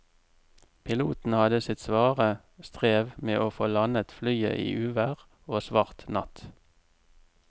Piloten hadde sitt svare strev med å få landet flyet i uvær og svart natt.